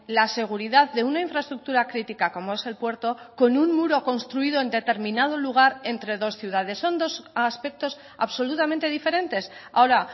la seguridad de una infraestructura crítica como es el puerto con un muro construido en determinado lugar entre dos ciudades son dos aspectos absolutamente diferentes ahora